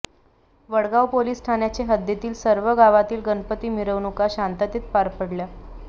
Wadgaon police ठाण्याचे हद्दीतील सर्व गावातील गणपती मिरवणूका शांततेत पार पडल्या